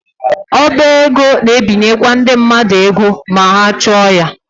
Ọba ego na-ebinyekwa ndị mmadụ ego ma ha chọọ ya.